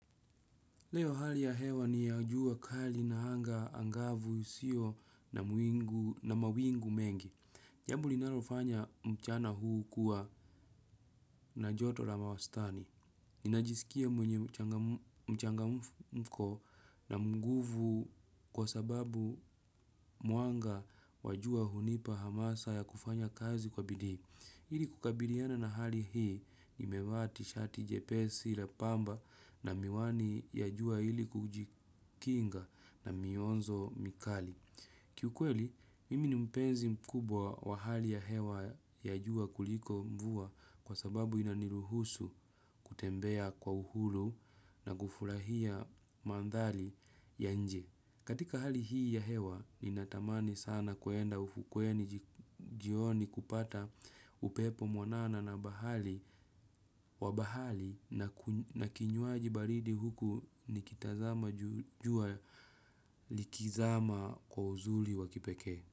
Leo hali ya hewa ni ya jua kali na anga angavu sio na mawingu mengi. Jambo linalofanya mchana huu kuwa na joto la mawastani. Ninajisikia mwenye mchangamko na nguvu kwa sababu mwanga wa jua hunipa hamasa ya kufanya kazi kwa bidii. Ili kukabiliana na hali hii nime vaa tishati jepesi lembamba na miwani ya jua ili kujikinga na mionzo mikali. Kiukweli, mimi ni mpenzi mkubwa wa hali ya hewa ya jua kuliko mvua kwa sababu inaniruhusu kutembea kwa uhuru na kufurahia mandhari ya nje. Katika hali hii ya hewa, nina tamani sana kuenda ufukweni jioni kupata upepo mwanana na wa bahari na kinywaji baridi huku nikitazama jua likizama kwa uzuli wa kipekee.